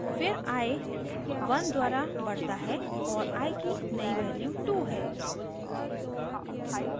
फिर i 1 द्वारा बढता है और i की नई value 2 है